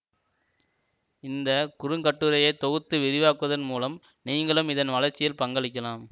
இந்த குறுங்கட்டுரையை தொகுத்து விரிவாக்குவதன் மூலம் நீங்களும் இதன் வளர்ச்சியில் பங்களிக்கலாம்